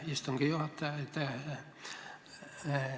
Aitäh, istungi juhataja!